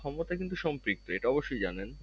ক্ষমতা কিন্তু সম্পৃক্ত এটা অবশ্যই জানেন